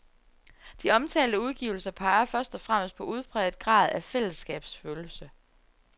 De omtalte udgivelser peger først og fremmest på udpræget grad af fællesskabsfølelse.